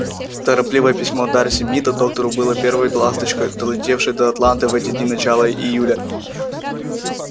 торопливое письмо дарси мида доктору было первой ласточкой долетевшей до атланты в эти дни начала июля